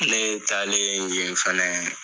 Ne taalen yen fɛnɛ